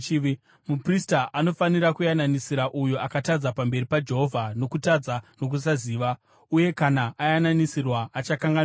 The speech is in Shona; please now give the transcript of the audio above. Muprista anofanira kuyananisira uyo akatadza pamberi paJehovha nokutadza nokusaziva, uye kana ayananisirwa, achakanganwirwa.